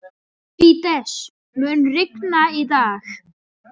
Fídes, mun rigna í dag?